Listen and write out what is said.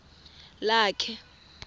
lakhe